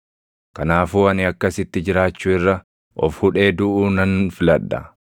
Kanaafuu ani akkasitti jiraachuu irra of hudhee duʼuu nan filadha.